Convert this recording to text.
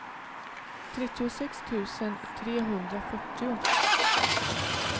trettiosex tusen trehundrafyrtio